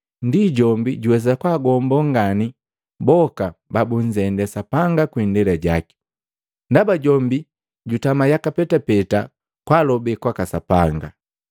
Ndienu, jombi juwesa kwaagombo ngani boka babunzende Sapanga kwii indela jaki, ndaba jombi jutama yaka petapeta kwalobe kwaka Sapanga.